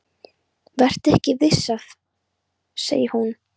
Vertu ekki of viss, segir hún.